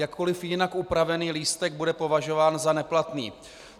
Jakkoliv jinak upravený lístek bude považován za neplatný.